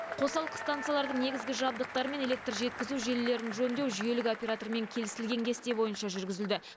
қосалқы станциялардың негізгі жабдықтары мен электр жеткізу желілерін жөндеу жүйелік оператормен кеілісілген кесте бойынша жүргізілді